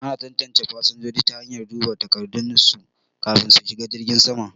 Ana tantance fasinjoji ta hanyar duba takardun su kafin su shiga jirgin saman